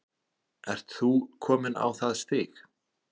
Ert þú kominn á það stig?